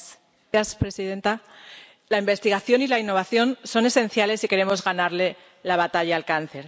Señora presidenta, la investigación y la innovación son esenciales si queremos ganarle la batalla al cáncer.